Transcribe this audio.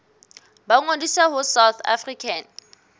ba ngodise ho south african